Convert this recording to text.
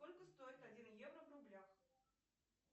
сколько стоит один евро в рублях